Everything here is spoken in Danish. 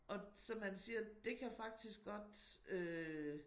Og så man siger det kan faktisk godt øh